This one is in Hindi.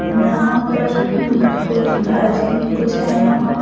यहां पर कुछ भाजी कुछ है यहां पर--